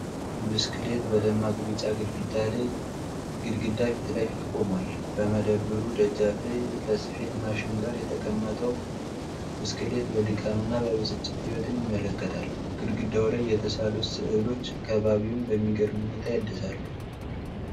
ብስክሌት በደማቅ ቢጫ ግድግዳ ፊት ለፊት ቆሟል። በመደብሩ ደጃፍ ላይ ከስፌት ማሽን ጋር የተቀመጠው ብስክሌት፣ የድካምና የብስጭት ሕይወትን ያመለክታል። ግድግዳው ላይ የተሳሉት ሥዕሎች ከባቢውን በሚገርም ሁኔታ ያድሳሉ።